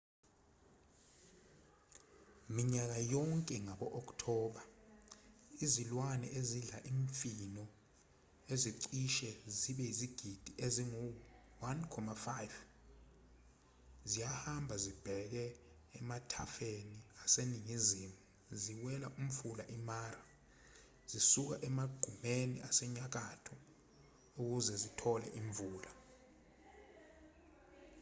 minyaka yonke ngabo-okthoba izilwane ezidla imifino ezicishe zibe yizigidi ezingu-1,5 ziyahamba zibheke emathafeni aseningizimu ziwela umfula i-mara zisuka emagqumeni asenyakatho ukuze zitole imvula